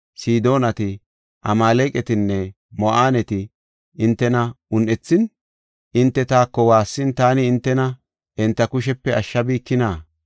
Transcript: Sidoonati, Amaaleqatinne Mo7aaneti hintena un7ethin, hinte taako waassin, taani hintena enta kushepe ashshabikina?